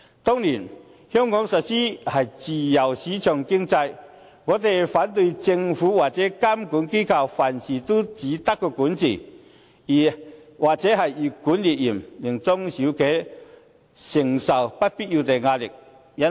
當然，香港實施的是自由市場經濟，我們反對政府或監管機構凡事都只懂監管或越管越嚴，令中小企承受不必要的壓力。